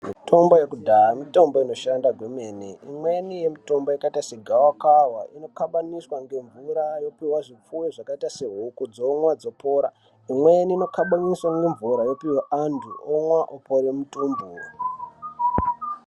Mitombo yekudaya mutombo inoshanda kwemene imweni yemitombo yakaita segavakava kukabaniswa ngemvura yopuva zvipfuyo zvakaita sehuku dzomwa dzopora. Imweni inokabaniswa nemvura yopihwa antu omwa opore mutumbu.